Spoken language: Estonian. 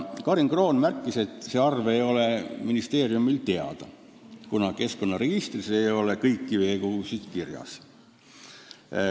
Karin Kroon märkis, et see arv ei ole ministeeriumile teada, kuna keskkonnaregistris ei ole kõiki veekogusid kirjas.